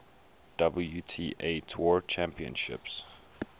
wta tour championships